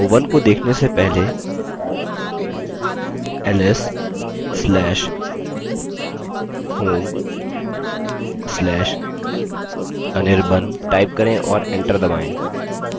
demo1 को देखने से पहले ls/home/anirban type करें और एंटर दबायें